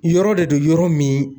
Yɔrɔ de don yɔrɔ min